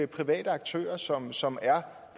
private aktører som som er